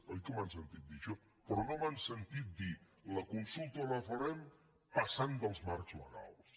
oi que m’han sentit dir això però no m’han sentit dir la consulta la farem passant dels marcs legals